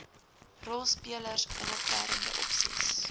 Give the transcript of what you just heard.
rolspelers inniverende opsies